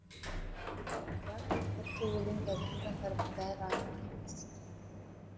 бірақ төрт жол өлең жазған жандардың бәрі ақын емес